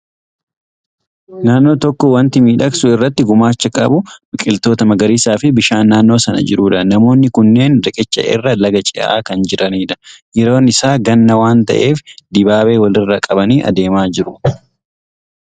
Naannoo tokko waanti miidhagsuu irratti gumaacha qabu biqiltoota magariisaa fi bishaan naannoo sana jirudha. Namoonni kunneen riqicha irra laga ce'aa kan jiranidha. Yeroon isaa ganna waan ta'eef, dibaabee walirra qabanii adeemaa jiru.